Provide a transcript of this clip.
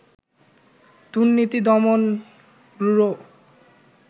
দুর্নীতি দমন ব্যুরো